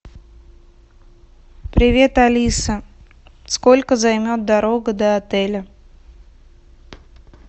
привет алиса сколько займет дорога до отеля